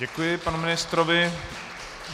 Děkuji panu ministrovi.